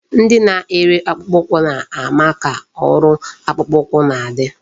Ndị na-ere akpụkpọ ụkwụ na-ama ka ọrụ akpụkpọ ụkwụ na-adị.